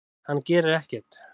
Hann gerir ekkert!